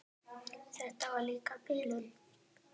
En þetta var líka bilun.